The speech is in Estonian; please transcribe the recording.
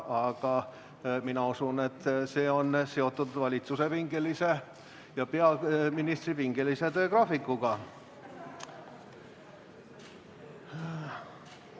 Aga mina usun, et see on seotud valitsuse ja peaministri pingelise töögraafikuga.